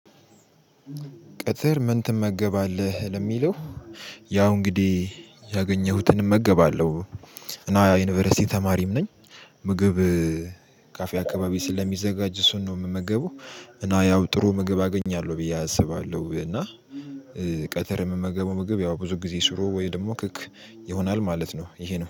ቅትር ምን ትመገባለህ ለሚለው? ያው እንግዲህ ያገኘሁትን እመገባለሁ እና ዩኒቨርሲቲ ተማሪም ነኝ። ምግብ ካፌ አካባቢ ስለሚዘጋጅ እሱን ነው የምመገበው። እና ያው ጥሩ ምግብ አገኛለሁ ብዬ አስባለሁ እና። ቀትር የምመገበው ምግብ ያው ብዙ ጊዜ ሽሮ ወይ ደግሞ ክክ ይሆናል ማለት ነው። ይሄ ነው